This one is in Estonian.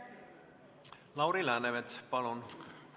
Lauri Läänemets, palun!